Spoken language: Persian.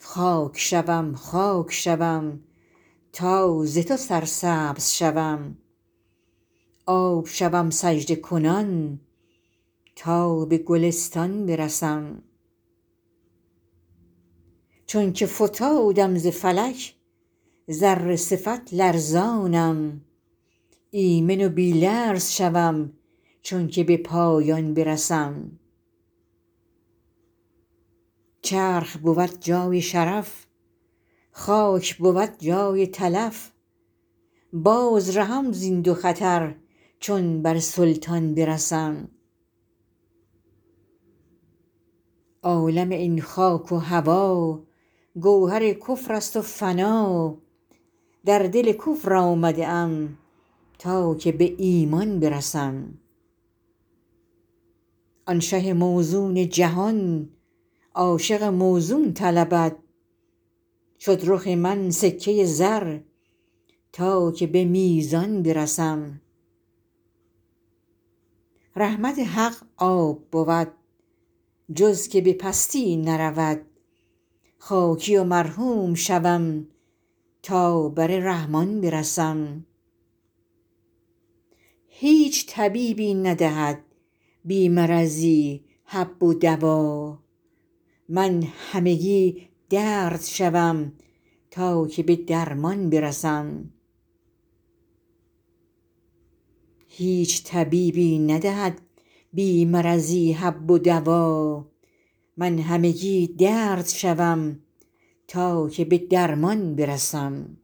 خاک شوم خاک شوم تا ز تو سرسبز شوم آب شوم سجده کنان تا به گلستان برسم چونک فتادم ز فلک ذره صفت لرزانم ایمن و بی لرز شوم چونک به پایان برسم چرخ بود جای شرف خاک بود جای تلف باز رهم زین دو خطر چون بر سلطان برسم عالم این خاک و هوا گوهر کفر است و فنا در دل کفر آمده ام تا که به ایمان برسم آن شه موزون جهان عاشق موزون طلبد شد رخ من سکه زر تا که به میزان برسم رحمت حق آب بود جز که به پستی نرود خاکی و مرحوم شوم تا بر رحمان برسم هیچ طبیبی ندهد بی مرضی حب و دوا من همگی درد شوم تا که به درمان برسم